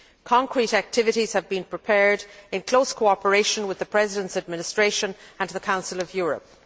Concrete activities have been prepared in close cooperation with the President's administration and the Council of Europe.